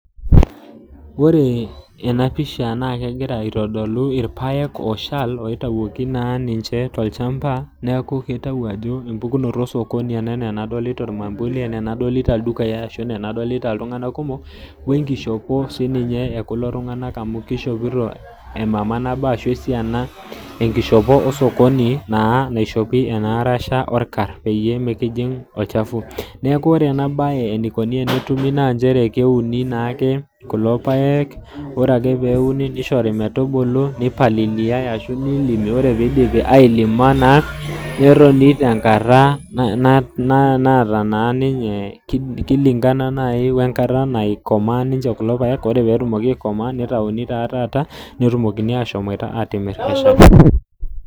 Wore ena pisha naa kekira aitodolu irpaek ooshal oitayioki naa ninche tolchamba neeku kitayu ajo empukunoto osokoni ena enaa enadolita ormambuli enaa enadolita ildukai ashu enaa enadolita iltunganak kumok, wenkishopo sininye ekulo tunganak amu kishopito emama nabo ashu esiana wenkishopo osokoni naa naishopi enaarasha orkar peyie mikijing olchafu. Neeku wore ena baye enikuni tenetumi naa nchere keuni naake kulo paek, wore ake peuni nishori metubulu, nipaliliyai ashu nilimi, wore pee idipi ailima naa, netoni tenkata naata ninye kilingana naaji enkata naikomaa ninche kulo paek, wore pee etumoki aikomaa nitayuni taa taata, netumokini aashomoita aatimirr.